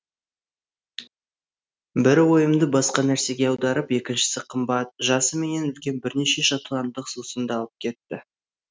бірі ойымды басқа нәрсеге аударып екіншісі қымбат жасы менен үлкен бірнеше шотландық сусынды алып кетті